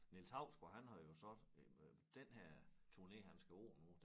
Niels Hausgaard han har jo så øh den her turné han skal på nu